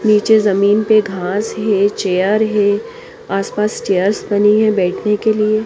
निचे ज़मीन पे घास है चेयर है आस पास चेयर है बैठ ने के लिए।